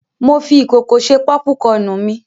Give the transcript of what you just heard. Mo fi ìkòkò ṣe pọ́púkọnù mi.